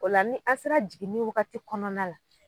O la ni an sera jiginni wagati kɔnɔna la